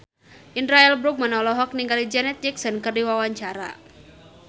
Indra L. Bruggman olohok ningali Janet Jackson keur diwawancara